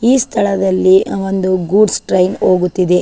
ಈ ಸ್ಥಳದಲ್ಲಿ ಒಂದು ಗೂಡ್ಸ್ ಟ್ರೈನ್ ಹೋಗುತ್ತಿದೆ.